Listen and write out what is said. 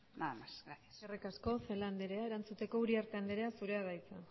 nada más gracias eskerrik asko celaá anderea erantzuteko uriarte anderea zurea da hitza